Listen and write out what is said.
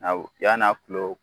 Yann'a kilo